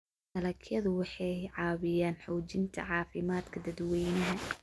Dalagyadu waxay caawiyaan xoojinta caafimaadka dadweynaha.